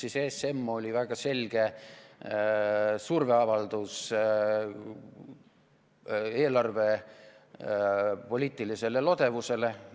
ESM oli väga selge surveavaldus eelarvepoliitilisele lodevusele.